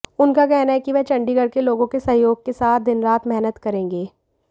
उनका कहना है कि वह चंडीगढ़ के लोगों के सहयोग के साथ दिनरात मेहनत करेंगे